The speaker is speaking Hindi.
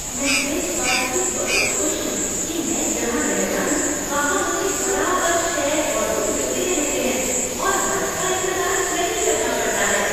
मैं इस बात से बहुत खुश हूँ कि मैं जहाँ रहता हूँ वहाँ मुझे बराबर शेयर्ड ऑटो मिलते रहते हैं और बस का इंतजार नहीं करना पड़ता है।